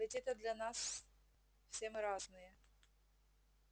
ведь это для нас все мы разные